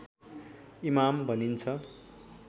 इमाम भनिन्छ